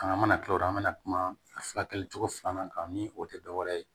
An mana kila o don an bɛna kuma furakɛli cogo filanan kan ni o tɛ dɔwɛrɛ ye